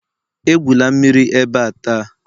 Egwula mmiri ebe a taa!